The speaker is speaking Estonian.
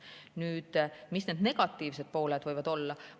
Nüüd, mis need negatiivsed pooled võivad olla?